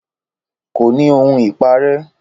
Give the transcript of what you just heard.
Kò ní ohun ìparẹ́